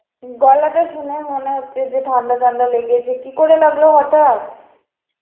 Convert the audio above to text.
গলাটা শুনেই মনে হচ্ছে যে ঠান্ডা ঠান্ডা লেগেছে, কি করে লাগল হঠাৎ?